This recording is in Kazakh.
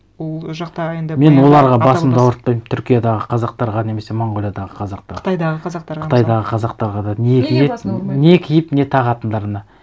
ол жақта енді мен оларға басымды ауыртпаймын түркиядағы қазақтарға немесе монғолиядағы қазақтарға қытайдағы қазақтарға мысалы қытайдағы қазақтарға да не киіп не тағатындарына